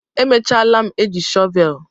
emechalam eji shọvel